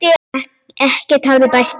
Ekkert hafði bæst við.